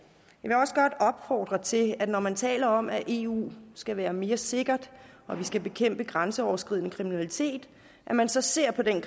jeg også godt opfordre til at når man taler om at eu skal være mere sikkert og at vi skal bekæmpe grænseoverskridende kriminalitet at man så ser på den